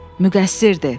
Müqəssirdir.